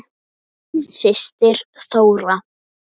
Þín systir Þóra.